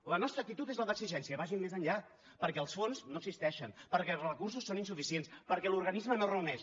la nostra actitud és la d’exigència vagin més enllà perquè els fons no existeixen perquè els recursos són insuficients perquè l’organisme no es reuneix